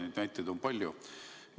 Neid näiteid on palju.